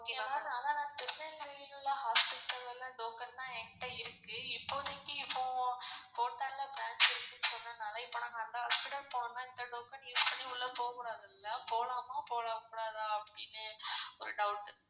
okay ma'am அனா திருநெல்வேலி ல hospital ல token தான் என்ட இருக்கு இப்போதைக்கு இப்போ branch இருக்குனு சொன்னதுனால இப்போ நாங்க அந்த hospital போறமாதிரி இருந்தா இந்த token use பண்ணி உள்ள போகுடாதுள்ள போலாமா போககூடதா அப்படினு ஒரு doubt